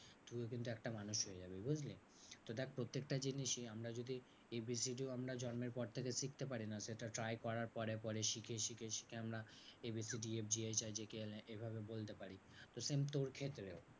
তুইও কিন্তু একটা মানুষ হয়ে জাবি বুঝলি? তো দেখ প্রত্যেকটা জিনিসই আমরা যদি এ বি সি ডি আমরা জন্মের পর থেকে শিখতে পারি না সেটা try করার পরে পরে শিখে শিখে শিখে আমরা A B C D F G H I J K L M এভাবে বলতে পারি। তো same তোর ক্ষেত্রেও।